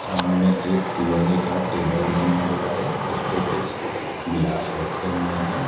सामने एक लोहे का टेबल बना हुआ है उस पर कुछ गिलास रखे हुए हैं।